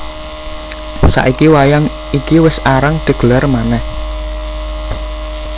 Saiki wayang iki wis arang digelar manèh